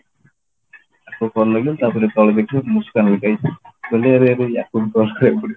ତାକୁ call ଲଗେଇଲି ତାପରେ ତଳେ ଦେଖିଲି ମୁସକାନ ଲେଖା ହେଇଛି ମୁଁ କହିଲି ଆରେ ହେଇ ଆକୁ ହିଁ call ଲଗେଇବି